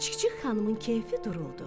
Çik-çik xanımın keyfi duruldu.